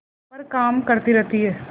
पर काम करती रहती है